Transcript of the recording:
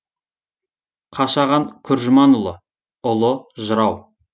қашаған күржіманұлы ұлы жырау